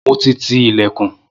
Mo ti ti ìlẹ̀kùn.